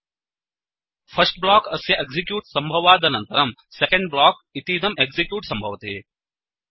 first block अस्य execute सम्भवादनन्तरं second block इतीदं एक्सिक्यूट् सम्भवति